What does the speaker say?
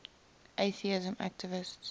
atheism activists